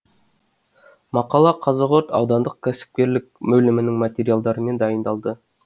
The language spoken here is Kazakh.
мақала қазығұрт аудандық кәсіпкерлік бөлімінің материалдарымен дайындалды